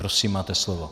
Prosím, máte slovo.